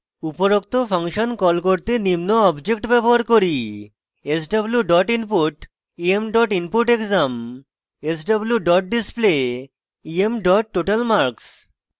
উপরোক্ত function call করতে নিম্ন objects ব্যবহার করি